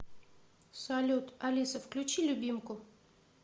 салют алиса включи любимку